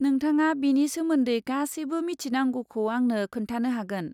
नोंथाङा बेनि सोमोन्दै गासैबो मिथिनांगौखौ आंनो खोनथानो हागोन।